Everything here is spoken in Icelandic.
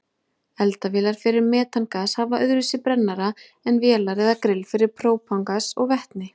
Eldavélar fyrir metangas hafa öðruvísi brennara en vélar eða grill fyrir própangas og vetni.